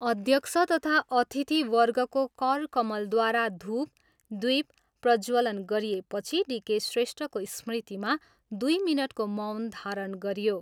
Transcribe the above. अध्यक्ष तथा अतिथिवर्गको करकमलद्वारा धुप, द्वीप प्रज्जवलन गरिएपछि डी. के. श्रेष्ठको समृतिमा दुई मिनटको मौन धारण गरियो।